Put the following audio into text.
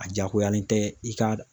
A diyagoyalen tɛ i ka